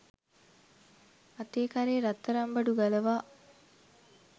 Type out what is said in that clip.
අතේ කරේ රත්තරන් බඩු ගලවා